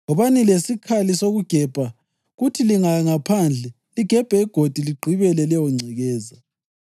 Wobani lesikhali sokugebha kuthi lingaya ngaphandle, ligebhe igodi ligqibele leyongcekeza.